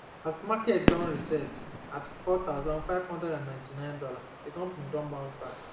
as market don reset at 4599 dolla d um company don bounce back